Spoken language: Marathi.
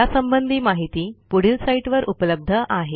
यासंबंधी माहिती पुढील साईटवर उपलब्ध आहे